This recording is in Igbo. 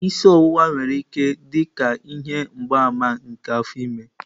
Isi ọwụwa nwere ike iso dị ka ihe mgbaàmà nke afọ ime.